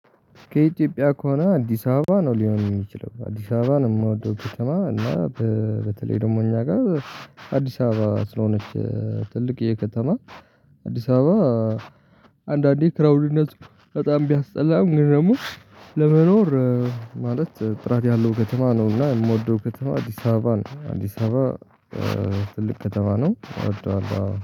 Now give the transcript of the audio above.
ከኢትዮጵያ ከሆነ አዲስ አበባ ነው ሊሆን የሚችለው አዲስ አበባን የምወደው ከተማ እና በተለይ ደግሞ እኛ ጋር አዲስ አበባ ስለሆነች ትልቅዬ ከተማ አዲስ አበባ። አንዳንዴ ክራውድነቱ በጣም ቢያስጠላም ግን ደግሞ ለመኖር ማለት ጥራት ያለው ከተማ ነው። እና የምወደው ከተማ አዲስ አበባ አዲስ አበባ። ትልቅ ከተማ ነው አወደዋለሁ አዎ